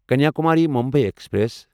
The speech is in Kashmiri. کنیاکماری مُمبے ایکسپریس